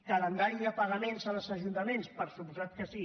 calendari de pagaments als ajuntaments per descomptat que sí